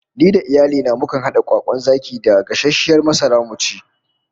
Ni da iyali na mukan hada kwakwan zaki da gasasshiyar masara mu ci